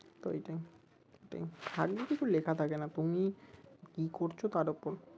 এইটাই ভাগ্যে কিছু লেখা থাকে না তুমি কি করছো তার উপর